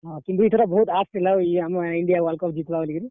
ହଁ, କିନ୍ତୁ ଇଥର ବହୁତ୍ ଆଶ୍ ଥିଲା ବୋ ଇ ଆମର୍ India WorldCup ଜିତ୍ ବା ବଲିକରି।